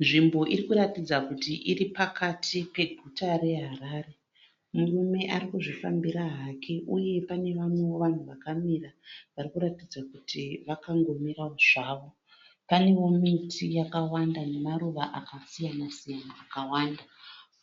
Nzvimbo irikuratidza kuti iri pakati peguta reHarare. Murume arikuzvifambira hake. Uye panevamwewo vanhu vakamira varikuratidza kuti vakango mirawo zvavo. Panewo miti yakawanda nemaruva aka siyana-siyana akawanda.